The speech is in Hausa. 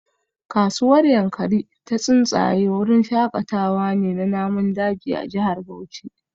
Kasuwar Yankari Ta Tsuntsaye wurin shakatawa ne na namun daji a jihar Bauchi